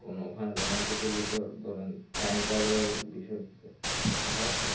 ওখানে romantic এর ভেতর ধরেন time travel এর বিষয়.